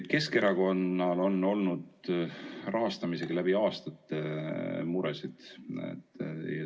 Keskerakonnal on olnud rahastamisega läbi aastate muresid.